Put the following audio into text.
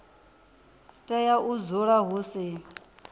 tea u dzula hu si